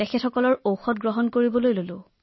তেওঁলোকৰ ঔষধ গ্ৰহণ কৰা আৰম্ভ কৰিলো